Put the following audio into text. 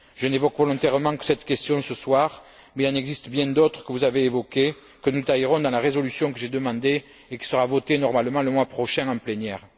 Je n'évoque volontairement que cette question ce soir, mais il en existe bien d'autres que vous avez évoquées, que nous taillerons dans la résolution que j'ai demandée et qui sera votée normalement le mois prochain en plénière.